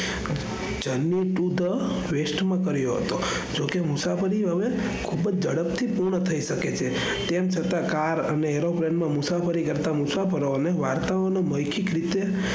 વેસ્ટમાં કર્યો હતો જેમકે એ મુસાફરી હવે ખુબ ઝડપ થી પુરી થઇ શકે છે. તેમ છતાં car અને aeroplane માં મુસાફરી કરતા મુસાફરોને વાર્તાઓનો મૌખિત રીતે,